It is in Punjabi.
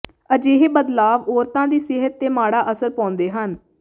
ਅਜਿਹੇ ਬਦਲਾਵ ਔਰਤਾਂ ਦੀ ਸਿਹਤ ਤੇ ਮਾੜਾ ਅਸਰ ਪਾਉਂਦੇ ਹਨ